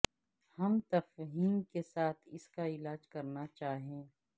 ہم تفہیم کے ساتھ اس کا علاج کرنا چاہئے